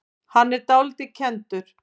Hann er dálítið kenndur.